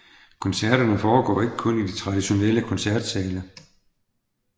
Koncerterne foregik derfor ikke kun i traditionelle koncertsale